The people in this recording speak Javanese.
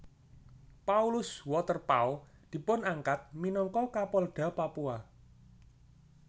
Paulus Waterpauw dipunangkat minangka Kapolda Papua